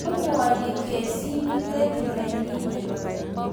amuani kesinik let nenyine